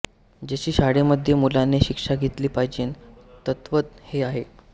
जशी शाळेमध्ये मुलांनीं शिक्षा घेतली पाहिजे तद्वत् हें आहे